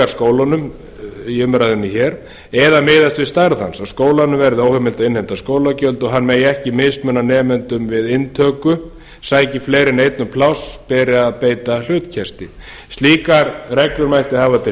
borgarskólunum í umræðunni hér eða miðast við stærð hans að skólum verði óheimilt að innheimta skólagjöld og hann megi ekki mismuna nemendum við inntöku sæki fleiri en einn um pláss beri að beita hlutkesti slíkar reglur mætti hafa til